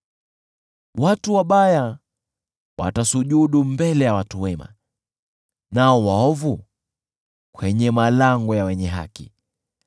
Watu wabaya watasujudu mbele ya watu wema, nao waovu kwenye malango ya wenye haki.